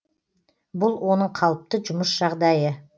бұл оның қалыпты жұмыс жағдайы